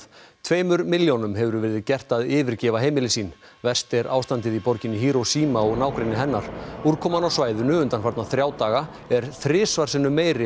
tveimur milljónum hefur verið gert að yfirgefa heimili sín verst er ástandið í borginni Hiroshima og nágrenni hennar úrkoman á svæðinu undanfarna þrjá daga er þrisvar sinnum meiri